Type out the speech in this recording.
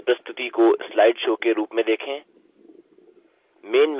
इस प्रस्तुति को slide show के रूप में देखें